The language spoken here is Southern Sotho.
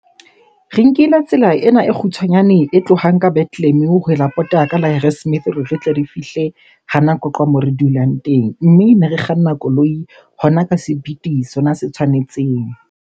Re nkile tsela ena e kgutshwanyane e tlohang ka Bethlehem ho pota ka la Harrismith hore re tle re fihle hana Qwaqwa moo re dulang teng. Mme ne re kganna koloi hona ka sepiti sona se tshwanetseng.